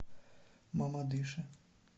мамадыше